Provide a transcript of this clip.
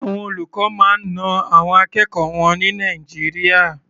Àwọn olùkọ́ máa ń na àwọn akẹ́kọ̀ọ́ wọn ní Nàìjíríà.